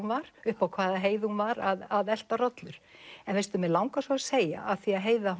var upp á hvaða heiði hún var að elta rollur en veistu mig langar svo að segja af því að Heiða